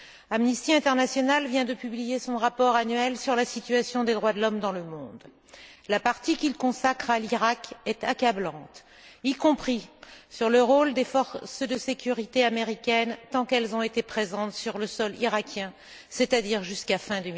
Amnesty International vient de publier son rapport annuel sur la situation des droits de l'homme dans le monde. La partie qu'il consacre à l'Irak est accablante, y compris sur le rôle des forces de sécurité américaines, tant qu'elles ont été présentes sur le sol irakien, c'est à dire jusqu'à fin